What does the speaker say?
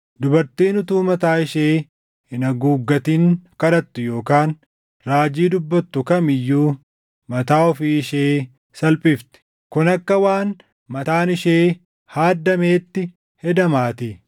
Dubartiin utuu mataa ishee hin haguuggatin kadhattu yookaan raajii dubbattu kam iyyuu mataa ofii ishee salphifti; kun akka waan mataan ishee haaddameetti hedamaatii.